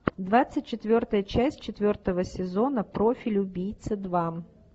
двадцать четвертая часть четвертого сезона профиль убийцы два